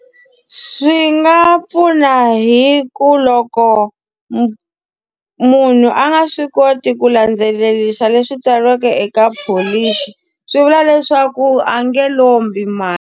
Swi nga pfuna hi ku loko munhu a nga swi koti ku landzelerisa leswi tsariweke eka pholisi, swi vula leswaku a nge lombi mali.